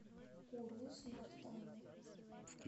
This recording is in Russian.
урус мартане